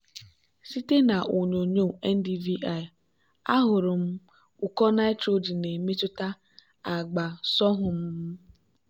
site na onyonyo ndvi ahụrụ m ụkọ nitrogen na-emetụta agba sorghum m.